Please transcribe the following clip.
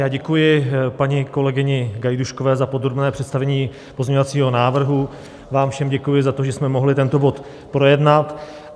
Já děkuji paní kolegyni Gajdůškové za podrobné představení pozměňovacího návrhu, vám všem děkuji za to, že jsme mohli tento bod projednat.